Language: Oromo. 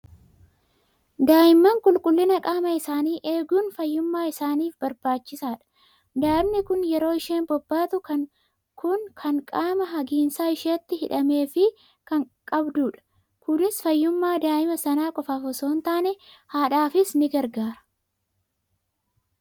Daa'imman qulqullina qaama isaanii eeguun fayyummaa isaaniif barbaachisaadha. Daa'imni kun yeroo isheen bobbaatu kan qaama hagiinsa isheetti hidhameefii kan qabdudha. Kunis fayyummaa daa'ima sana qofaaf osoo hin taane haadhaafis ni gargaara.